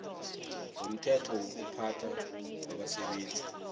lomthetho wokuziphatha kwabasebenzi